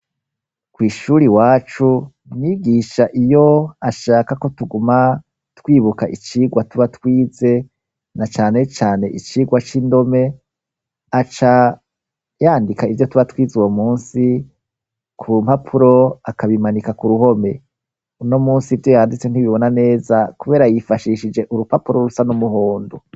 Kw'ishure iwacu umwigisha iyo ashaka ko tuguma twibuka icigwa tuba twize na cane cane icigwa c'indome, aca yandika ivyo tuba twize uwo musi ku mpapuro akabimanika ku ruhome, uno musi ivyo yanditse ntibibona neza kubera yifashishije urupapuro rusa n'umuhondo.